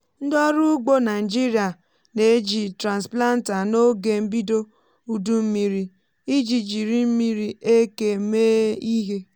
ndị ọrụ ugbo naịjirịa na-eji transplanter n’oge mbido udu mmiri iji jiri mmiri eke mee ihe.